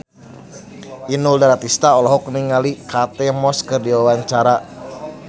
Inul Daratista olohok ningali Kate Moss keur diwawancara